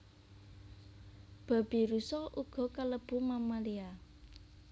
Babirusa uga kalebu mammalia